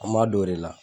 An m'a don o de la